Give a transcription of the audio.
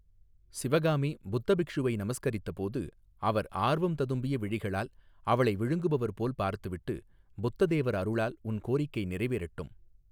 சிவகாமி புத்த பிக்ஷுவை நமஸ்கரித்தபோது அவர் ஆர்வம் ததும்பிய விழிகளால் அவளை விழுங்குபவர்போல் பார்த்துவிட்டு புத்த தேவர் அருளால் உன் கோரிக்கை நிறைவேறட்டும்.